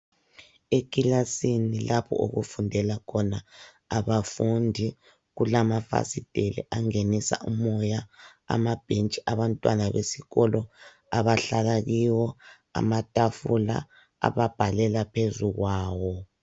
Ekilasini lapho okufundela khona abafundi, kulamafasitela angenisa umoya amabhentshi abantwana besikolo abahlala kiwo, amatafula ababhalela phezu kwawo.